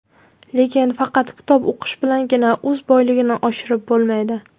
Lekin faqat kitob o‘qish bilangina so‘z boyligini oshirib bo‘lmaydi.